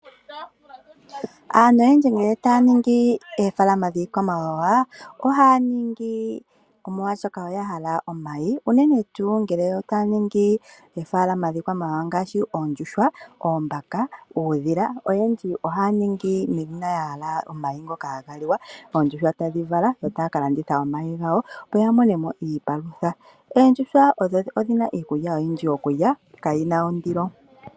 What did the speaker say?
Aantu oyendji ngele taya ningi oofalama dhiikwamawawa, ohaa ningi molwashoka oya hala omayi unene ngele yo taa ningi oofalama dhiikwamawawa ngaashi oondjuhwa, oombaka, uudhila, oyendji ohaa ningi uuna ya hala omayi ngoka haga liwa. Oondjuhwa tadhi vala yo taa ka landitha omahi gawo opo ya mone mo iipalutha. Oondjuhwa odhi na iikulya oyindji yokulya kayi na ondilo.